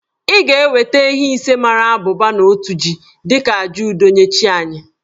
I ga-eweta ehi ise mara abụba na otu jì dị ka àjà udo nye chi anyị